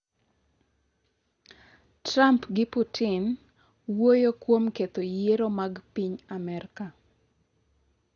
Trump gi Putin wuoyo kuom ketho yiero mag piny Amerka